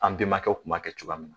An bɛnbakɛw kun b'a kɛ cogoya min na.